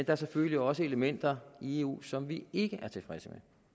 er selvfølgelig også elementer i eu som vi ikke er tilfredse